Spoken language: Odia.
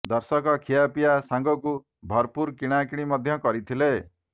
ଦର୍ଶକ ଖିଆ ପିଆ ସାଙ୍ଗକୁ ଭରପୁର କିଣା କିଣି ମଧ୍ୟ କରିଥିଲେ